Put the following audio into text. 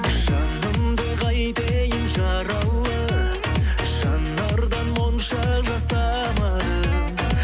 жанымды қайтейін жаралы жанардан моншақ жас тамады